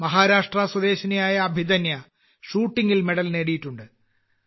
മഹാരാഷ്ട്ര സ്വദേശിനിയായ അഭിധന്യ ഷൂട്ടിങ്ങിൽ മെഡൽ നേടിയിട്ടുണ്ട്